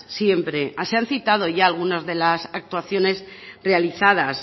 siempre se han citado ya algunas de las actuaciones realizadas